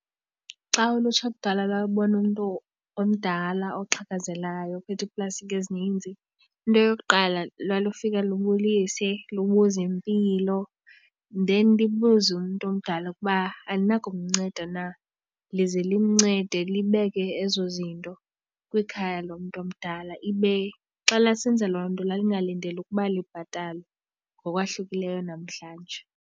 Xa ulutsha kudala lalubona umntu omdala oxhakazelayo ophethe iiplastikhi ezininzi into yokuqala lalufika libulise, libuze impilo, then libuze umntu omdala kuba uba alinako kumnceda na. Lize limncede libeke ezo zinto kwikhaya lomntu omdala, ibe xa lalisenza loo nto lalingalindelanga ukuba libhatalwe ngokwahlukileyo namhlanje.